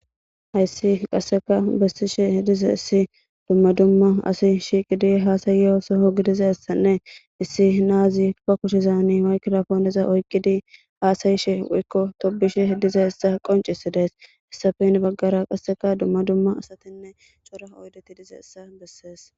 hayssi qasseka bessishe hidize issi dumma dumma asi shiiqidi haasayeosoho gidiza issanne issi naazi pa kushizani waykilafooneza oykqidi haasayishe wuykko tobushe h diza issa qoncisi dees issafe in baggara qasseka dumma dumma asatinne cora oydeti dize issa bessees